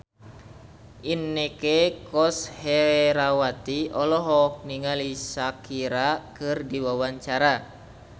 Inneke Koesherawati olohok ningali Shakira keur diwawancara